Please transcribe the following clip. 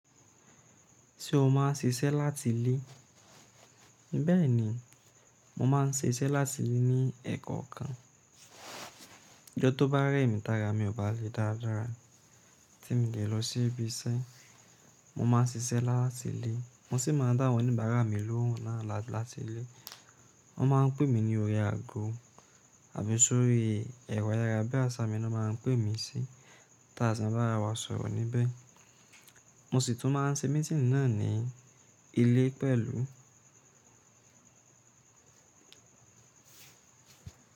Ṣé o má ń ṣiṣẹ́ láti ilé. Bẹ́ẹ̀ni, mo máa ń ṣiṣẹ́ láti lè ní ẹ́kọ́ kan. Ìjọ tó bá rẹ́ mi, tààrà mi ò bá le dáadáa tí mo dẹ̀ lọ sí ibi iṣẹ́. Mo má ń ṣiṣẹ́ láti ilé, mo sì máa ń dá àwọn oníbàárà mí lóhùn náà láti ilé. Wọ́n máa ń pè mí ní orí ago àbí sórí ẹ̀rọ ayárabíàṣá mi ni wọ́n máa ń pè mí sí. Tààsì má bá rà wá sọ̀rọ̀ níbẹ̀. Mo sì tún máa ń ṣe mítínì náà ní ilé pẹ̀lú.